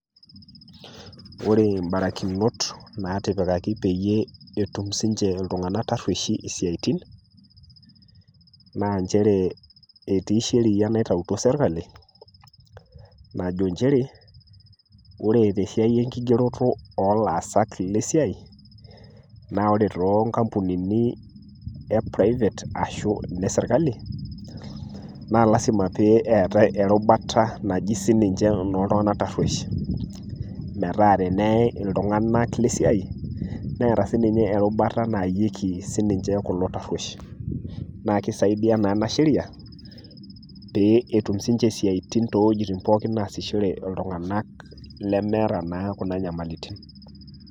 Ore imbarakinot nati